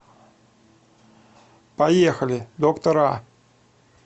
поехали доктор а